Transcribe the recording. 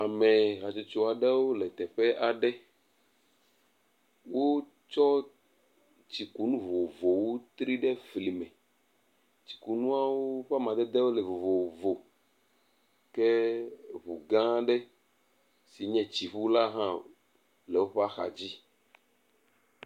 Ame hatsotso aɖewo le teƒe aɖe. Wotsɔ tsikunu vovovowo tri ɖe fli me. Tsikunuawo ƒe amadedewo le vovovo ke ŋu gã aɖe yi ke nye tsiŋu hã le woƒe axadzi.